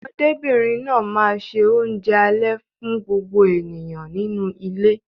Ọmọdébìnrin náà máa ṣe oúnjẹ alẹ́ fún gbogbo ènìyàn nínú ilé.